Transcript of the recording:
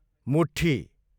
मुठ्ठी